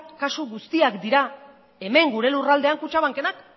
kasu guztiak dira hemen gure lurraldean kutxabankenak